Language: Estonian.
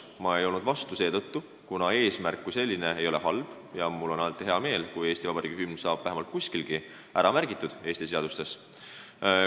Ma ei olnud vastu seetõttu, et eesmärk kui selline ei ole halb ja mul on hea meel, kui Eesti Vabariigi hümn saab vähemalt kuskilgi Eesti seadustes ära märgitud.